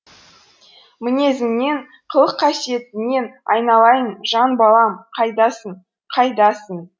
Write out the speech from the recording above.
мінезіңнен қылық қасиетіңнен айналайын жан балам қайдасың қайдасың